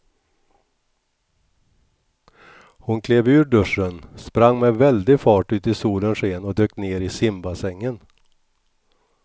Hon klev ur duschen, sprang med väldig fart ut i solens sken och dök ner i simbassängen.